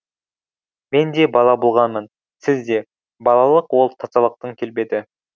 мен де бала болғанмын сіз де балалық ол тазалықтың келбеті